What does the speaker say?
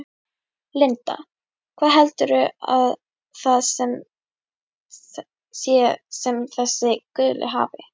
Linda: Hvað heldurðu að það sé sem þessi guli hafi?